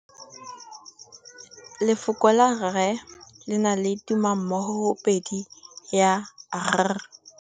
Lefoko la rre le na le tumammogôpedi ya, r.